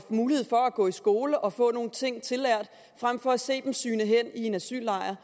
mulighed for at gå i skole og få nogle ting tillært frem for at se dem sygne hen i en asyllejr